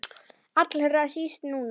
Allra síst núna.